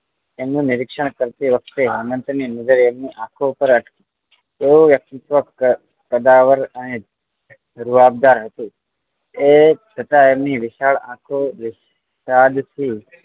એમનું નીરીક્ષણ કરતી વખતે હેમંત ને એમની આંખો પર એવું વ્યક્તિત્વ કદાવર અને રુંવાબદાર હતું એ છતાં એમની વિશાલ આંખો માં સાદગી